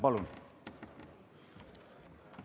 Palun!